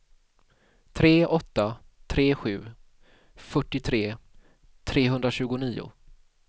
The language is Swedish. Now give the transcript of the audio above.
tre åtta tre sju fyrtiotre trehundratjugonio